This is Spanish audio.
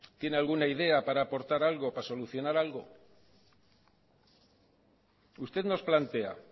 tiene alguna idea para aportar algo para solucionar algo usted nos plantea